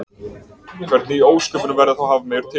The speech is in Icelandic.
hvernig í ósköpunum verða þá hafmeyjar til